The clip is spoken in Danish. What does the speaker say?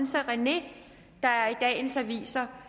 så rené der i dagens aviser